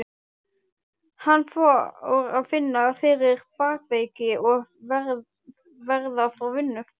Hann fór að finna fyrir bakveiki og verða frá vinnu.